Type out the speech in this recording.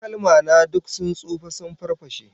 Takalma na duk sun tsufa sun farfashe